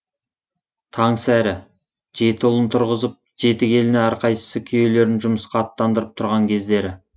таңсәрі жеті ұлын тұрғызып жеті келіні әрқайсысы күйеулерін жұмысқа аттандырып тұрған кездері